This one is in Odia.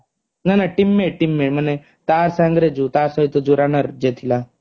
ନା ନା teammate teammate ମାନେ ତା ସଙ୍ଗେରେ ଯୋଉ ତା ସହିତ ଯୋଉ runner ଯିଏ ଥିଲା